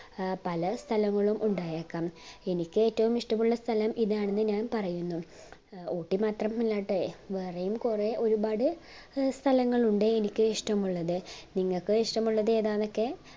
ഏർ പല സ്ഥലങ്ങളും ഉണ്ടായേക്കാം എനിക്ക് ഏറ്റവും ഇഷ്ടമുള്ള സ്ഥലം ഇതാണെന്ന് ഞാൻ പറയുന്നു ഊട്ടി മാത്രമല്ലാട്ടെ വേറെയും കൊറേ ഒരുപാട് സ്ഥലങ്ങൾ ഉണ്ട് എനിക്ക് ഇഷ്ടമുള്ളത് നിങ്ങക് ഇഷ്ടമുള്ളത് എതാനൊക്കെ